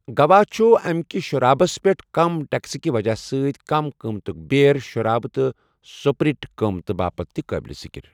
گوا چھُ اَمکہِ شرابَس پٮ۪ٹھ کم ٹیکسہٕ کہِ وجہہ سۭتۍ کم قۭمتٕک بیئر، شرابہٕ تہٕ سپرٹ قۭمتہٕ باپتھ تہِ قٲبلِ ذِکِر۔